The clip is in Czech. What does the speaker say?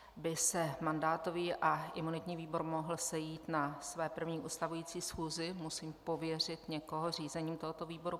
Aby se mandátový a imunitní výbor mohl sejít na své první ustavující schůzi, musím pověřit někoho řízením tohoto výboru.